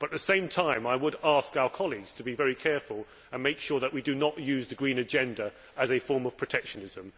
At the same time, I would ask our colleagues to be very careful and make sure that we do not use the green agenda as a form of protectionism.